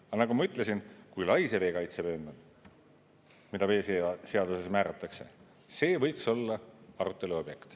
Aga nagu ma ütlesin, kui lai see veekaitsevöönd on, mis veeseaduses määratakse, see võiks olla arutelu objekt.